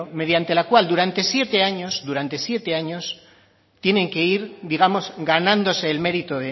mediante la cual durante siete años durante siete años tienen que ir digamos ganándose el mérito